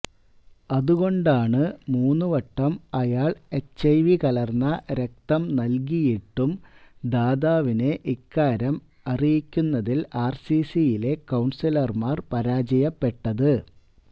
അതകൊണ്ടാണ് മൂന്ന് വട്ടം അയാൾ എച്ചഐവി കലർന്ന രക്തം നൽകിയിട്ടും ദാതാവിനെ ഇക്കാര്യം അറിയിക്കുന്നതിൽ ആർസിസിയിലെ കൌൺസിലർമാർ പരാജയപ്പെട്ടത്